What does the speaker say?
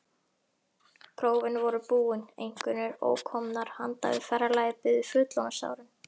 Prófin voru búin, einkunnir ókomnar, handan við ferðalagið biðu fullorðinsárin.